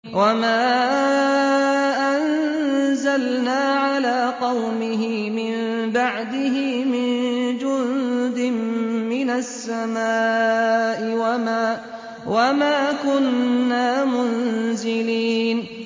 ۞ وَمَا أَنزَلْنَا عَلَىٰ قَوْمِهِ مِن بَعْدِهِ مِن جُندٍ مِّنَ السَّمَاءِ وَمَا كُنَّا مُنزِلِينَ